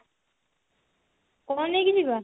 କଣ ନେଇକି ଯିବା